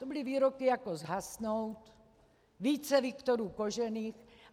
To byly výroky jako zhasnout, více Viktorů Kožených...